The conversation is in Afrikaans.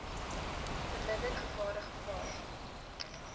verminder gevare gevaar